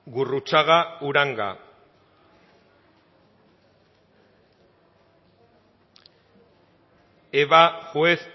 gurrutxaga uranga eva juez